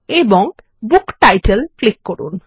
এবং book title click করুন